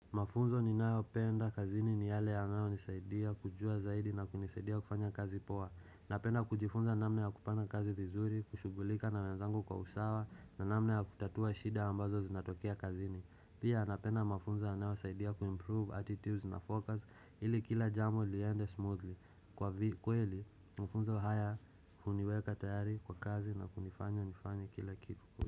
Mafunzo ninayopenda kazini ni yale yanayonisaidia kujua zaidi na kunisaidia kufanya kazi poa. Napenda kujifunza namna ya kupanga kazi vizuri, kushughulika na wenzangu kwa usawa na namna ya kutatua shida ambazo zinatokea kazini. Pia napenda mafunzo yanayosaidia kuimprove attitudes na focus ili kila jambo liende smoothly. Kwa kweli, mafunzo haya huniweka tayari kwa kazi na kunifanya nifanye kila kitu.